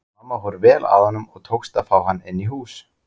Mamma fór vel að honum og tókst að fá hann inn í hús.